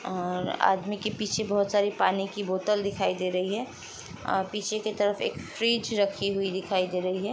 और आदमी के पीछे बहुत सारी पानी की बोतल दिखाई दे रही है और पीछे के तरफ एक फ्रिज रखी हुई दिखाई दे रही है।